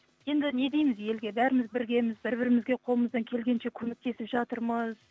енді не дейміз елге бәріміз біргеміз бір бірімізге қолымыздан келгенше көмектесіп жатырмыз